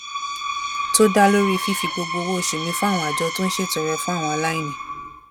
tó dá lórí fífi gbogbo owó oṣù mi fún àwọn àjọ tó ń ṣètọrẹ fún àwọn aláìní